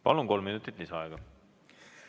Palun, kolm minutit lisaaega!